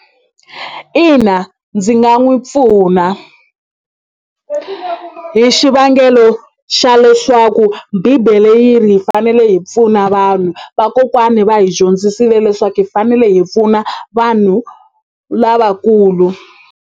Ina ndzi nga n'wi pfuna hi xivangelo xa leswaku bibele yi ri hi fanele hi pfuna vanhu vakokwani va hi dyondzisile leswaku hi fanele hi pfuna vanhu lavakulu.